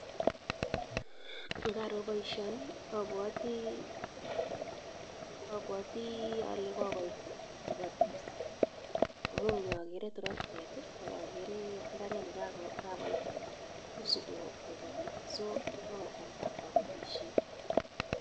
Ngaro baishani apwati ale kokot kipatis amu yu akere torektet akekere mbaret nekakoit nusu kopati so kasarta ap kapatishet.